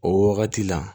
O wagati la